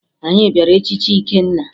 Anyị bịara echichi Ikenna